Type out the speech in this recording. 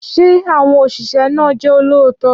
Ṣé àwọn òṣìṣẹ́ náà jẹ́ olóòótọ́?